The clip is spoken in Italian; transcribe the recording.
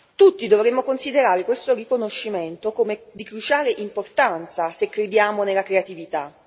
Tutti dovremmo considerare questo riconoscimento come di cruciale importanza, se crediamo nella creatività.